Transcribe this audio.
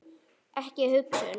Ekki hugsun.